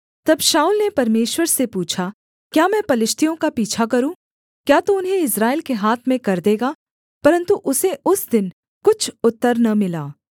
तब शाऊल ने परमेश्वर से पूछा क्या मैं पलिश्तियों का पीछा करूँ क्या तू उन्हें इस्राएल के हाथ में कर देगा परन्तु उसे उस दिन कुछ उत्तर न मिला